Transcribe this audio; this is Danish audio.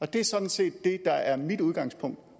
det er sådan set det der er mit udgangspunkt